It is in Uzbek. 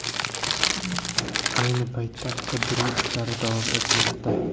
Ayni paytda qidiruv ishlari davom etmoqda.